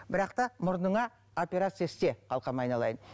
бірақ та мұрныңа операция істе қалқам айналайын